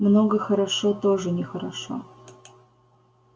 много хорошо тоже нехорошо